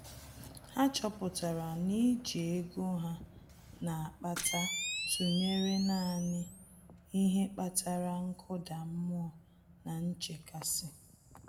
Há chọ́pụ̀tárà na íjí ego há nà-ákpàtà tụnyere nāànị́ ihe kpatara nkụda mmụọ na nchekasị.